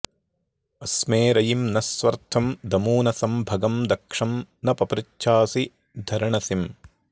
अस्मे रयिं न स्वर्थं दमूनसं भगं दक्षं न पपृचासि धर्णसिम्